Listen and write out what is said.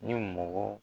Ni mɔgɔ